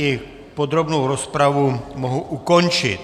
I podrobnou rozpravu mohu ukončit.